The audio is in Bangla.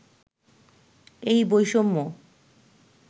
এই বৈষম্য